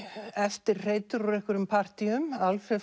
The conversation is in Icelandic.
eftirhreytur úr partýum Alfreð